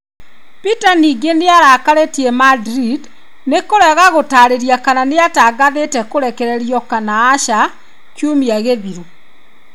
Peter ningĩ nĩ arakarĩtie Madrid nĩ kũrega gũtarĩria kana nĩatangathĩte kũrekererio kana aca kiumia gĩthiru.